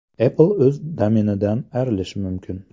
Apple o‘z domenidan ayrilishi mumkin.